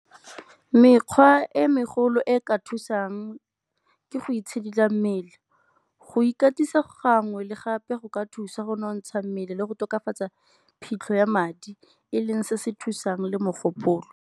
Mekgwa e megolo e e ka thusang ke go itshidila mmele. Go ikatisa gangwe le gape go ka thusa go nonotsha mmele le go tokafatsa phitlho ya madi e leng se se thusang le mogopolo.